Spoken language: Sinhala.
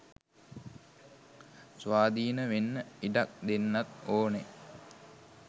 ස්වාධින වෙන්න ඉඩක් දෙන්නත් ඕනෙ